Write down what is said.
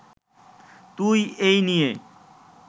তুই এই নিয়ে